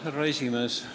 Härra esimees!